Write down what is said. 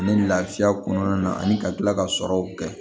Ani lafiya kɔnɔna na ani ka kila ka sɔrɔw kɛ